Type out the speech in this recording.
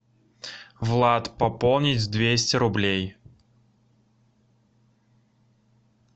влад пополнить двести рублей